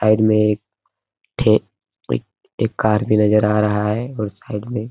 side में एक ठे एक एक कार भी नजर आ रहा है उस साइड में |